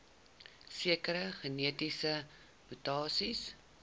sekere genetiese mutasies